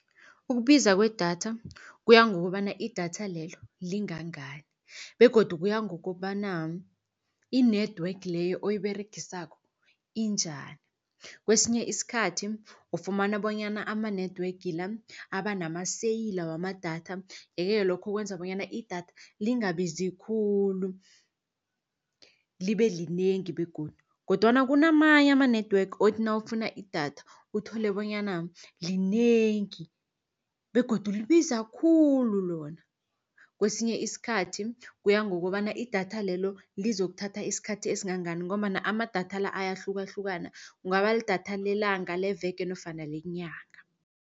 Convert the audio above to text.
Ukubiza kwedatha kuya ngokobana idatha lelo lingani ngani begodu kuya ngokobana, i-network leyo oyiberegisako injani. Kesinye isikhathi ufumana bonyana ama-network la aba namaseyila wamadatha, ye-ke lokho kwenza bonyana idatha lingabizi khulu libe linengi begodu. Kodwana kunamanye ama-network othi nawufuna idatha, uthole bonyana linengi begodu libiza khulu lona. Kesinye isikhathi kuya ngokobana idatha lelo lizokuthatha isikhathi esingangani, ngombana amadatha la ayahlukahlukana kungaba lidatha lelanga, leveke nofana lenyanga.